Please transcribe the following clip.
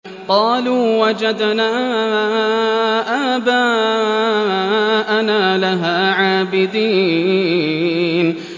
قَالُوا وَجَدْنَا آبَاءَنَا لَهَا عَابِدِينَ